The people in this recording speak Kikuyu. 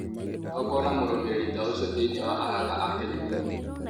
No kuona mũrumĩrĩri ta ũcio thĩinĩ wa arata a Kenya nĩ hinya mũno